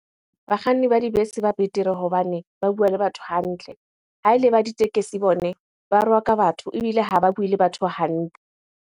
Bakganni ba dibese ba betere hobane ba bua le batho hantle Ha ele ba ditekesi bone, ba rwaka batho ebile ha ba bue le batho hantle.